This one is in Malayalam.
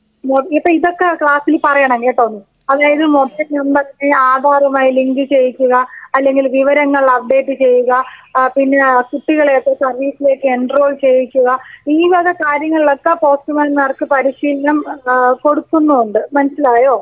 നോക്ക് അപ്പോ ഇതൊക്കെ ക്ലാസില് പറയണം കേട്ടോ നീ. അതായത് മൊബൈൽ നമ്പർ ഒക്കെ ആധാറുമായി ലിങ്ക് ചെയ്യിക്കുക, അല്ലെങ്കിൽ വിവരങ്ങൾ അപ്ഡേറ്റ് ചെയ്യുക. ആ പിന്നെ കുട്ടികളൊക്കെ സർവീസിലേക്ക് എൻട്രോൾ ചെയ്യിക്കുക. ഈ വക കാര്യങ്ങളൊക്കെ പോസ്റ്റ് മാൻമാർക്ക് പരിശീലനം ഏഹ് കൊടുക്കുന്നുണ്ട്. മനസ്സിലായോ?.